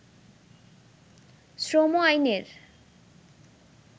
শ্রম আইনের